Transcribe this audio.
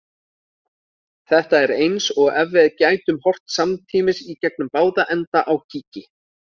Þetta er eins og ef við gætum horft samtímis í gegnum báða enda á kíki.